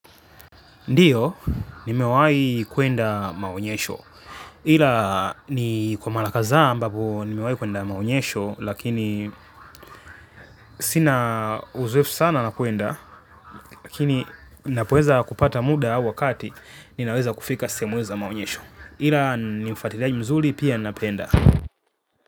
Ndiyo, ni mewai kwenda maonyesho. Ila ni kwa malakathaa ambapo ni mewai kuenda maonyesho, lakini sina uzoefu sana na kuenda, lakini napoeza kupata muda wakati, ninaweza kufika sehemu hizo za maonyesho. Ila ni mfatiliaji mzuli pia napenda.